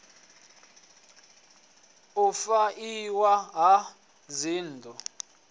u fha iwa ha dzinnḓu